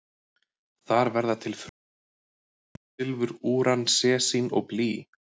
Þar verða til frumefni eins og gull, silfur, úran, sesín og blý.